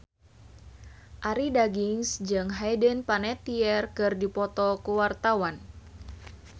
Arie Daginks jeung Hayden Panettiere keur dipoto ku wartawan